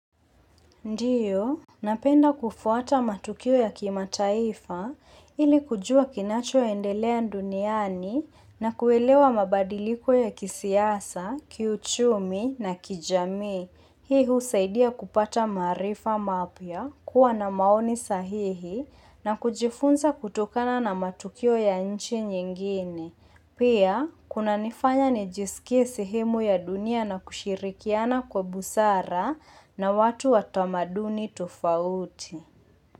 Ndiyo, napenda kufuata matukio ya kima mataifa ili kujua kinacho endelea duniani na kuelewa mabadiliko ya kisiasa, kiuchumi na kijamii. Hii husaidia kupata maarifa mapya, kuwa na maoni sahihi na kujifunza kutokana na matukio ya nchi nyingine. Pia, kunanifanya nijisikie sehemu ya dunia na kushirikiana kwa busara na watu watamaduni tofauti.